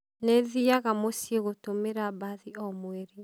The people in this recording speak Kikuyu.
Nĩthĩaga mũciĩ gũtũmĩra mbathi o mwerĩ